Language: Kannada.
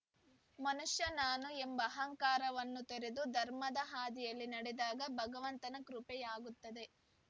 ಮನುಷ್ಯ ನಾನು ಎಂಬ ಅಹಂಕಾರವನ್ನು ತೊರೆದು ಧರ್ಮದ ಹಾದಿಯಲ್ಲಿ ನಡೆದಾಗ ಭಗವಂತನ ಕೃಪೆಯಾಗುತ್ತದೆ